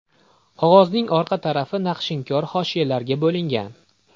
Qog‘ozning orqa tarafi naqshinkor hoshiyalarga bo‘lingan.